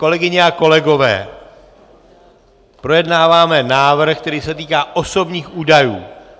Kolegyně a kolegové, projednáváme návrh, který se týká osobních údajů.